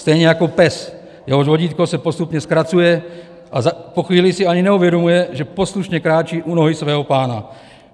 Stejně jako pes, jehož vodítko se postupně zkracuje, a po chvíli si ani neuvědomuje, že poslušně kráčí u nohy svého pána.